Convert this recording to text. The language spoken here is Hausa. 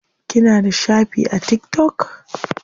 Kina da shafi a tiktok?